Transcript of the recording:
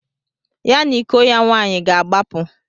Ya na iko ya nwaanyị ga-agbapụ.